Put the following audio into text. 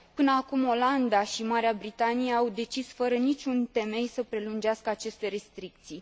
Până acum, Olanda și Marea Britanie au decis, fără niciun temei, să prelungească aceste restricții.